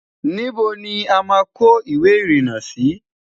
níbo ní àma kò ìwé irina Si?